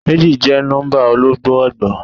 Méjì jẹ́ nọ́ḿbà ọlọ́gbọọgba.